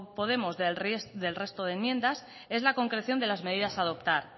podemos del resto de enmiendas es la concreción de las medidas a adoptar